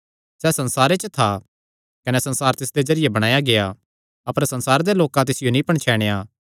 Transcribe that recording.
सैह़ संसारे च था कने संसार तिसदे जरिये बणाया गेआ अपर संसारे दे लोकां तिसियो नीं पणछैणया